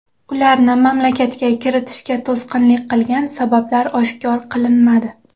Ularni mamlakatga kiritishga to‘sqinlik qilgan sabablar oshkor qilinmadi.